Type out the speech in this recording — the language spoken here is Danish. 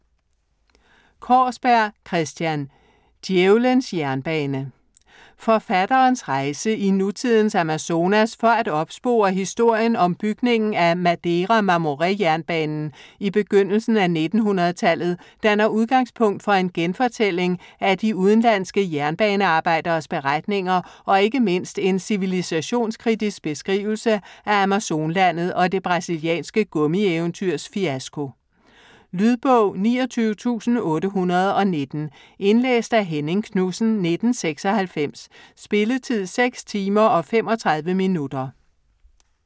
Kaarsberg, Christian: Djævelens jernbane Forfatterens rejse i nutidens Amazonas for at opspore historien om bygningen af Madeira-Mamoré jernbanen i begyndelsen af 1900-tallet danner udgangspunkt for en genfortælling af de udenlandske jernbanearbejderes beretninger og ikke mindst en civilisationskritisk beskrivelse af Amazonlandet og det brasilianske gummieventyrs fiasko. Lydbog 29819 Indlæst af Henning Knudsen, 1996. Spilletid: 6 timer, 35 minutter.